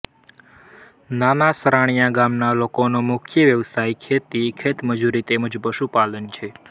નાના સરાણીયા ગામના લોકોનો મુખ્ય વ્યવસાય ખેતી ખેતમજૂરી તેમ જ પશુપાલન છે